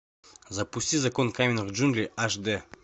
запусти закон каменных джунглей аш дэ